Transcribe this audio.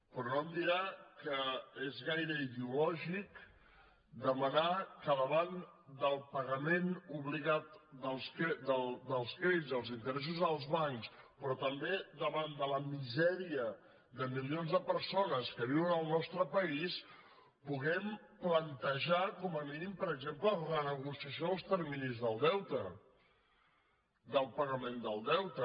però no em dirà que és gaire ideològic demanar que davant del pagament obligat dels crèdits dels interessos dels bancs però també davant de la misèria de milions de persones que viuen al nostre país puguem plantejar com a mínim per exemple la renegociació dels terminis del deute del pagament del deute